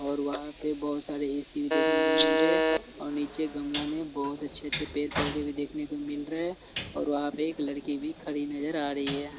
और वहाँ पे बहुत सारे ए_सी भी देखने को मिल रहे हैं और नीचे गमला में बहुत अच्छे-अच्छे पैर-पौधे भी देखने को मिल रहे हैं और वहाँ पे एक लड़की भी खड़ी नजर आ रही है।